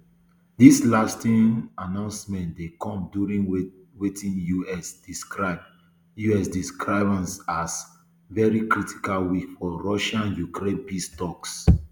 dis latest um announcement dey come during wetin us describe us describe um as very critical week for russiaukraine peace toks